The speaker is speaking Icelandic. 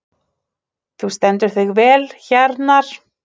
Þú stendur þig vel, Hjarnar!